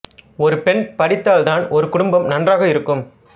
ஒரு பெண் படித்தால் தான் ஒரு குடும்பம் நன்றாக இருக்கும்